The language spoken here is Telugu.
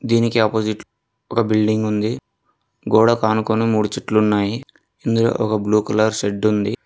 దీనికీ అపోజిట్ ఒక బిల్డింగ్ ఉంది గోడకానుకొని మూడు చుట్లున్నాయి ఇందులో ఒక బ్లూ కలర్ షెడ్ ఉంది.